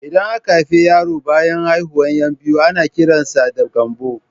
Idan aka haifi yaro banyan haihuwar 'yan biyu ana kiran sa da Gambo